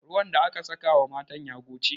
Ruwan da aka saka wa matan ya goce.